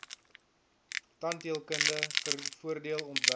tandheelkunde voordeel ontwerp